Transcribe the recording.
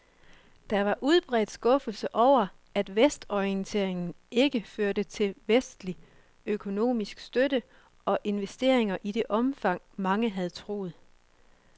Og der var udbredt skuffelse over, at vestorienteringen ikke førte til vestlig økonomisk støtte og investeringer i det omfang, mange havde troet.